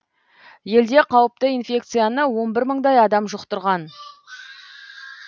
елде қауіпті инфекцияны он бір мыңдай адам жұқтырған